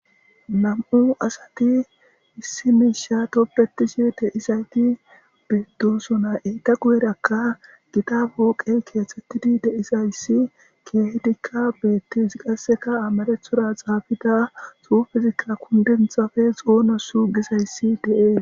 nam7u asati issi miisha toppetishe deisayti biddosona eyta guyerakka gita booqey keethtettidi deisayssi kiehdikka beettis qasseka amarethora xaabida su fizikka kundenthafe xoona su gizayssi de7e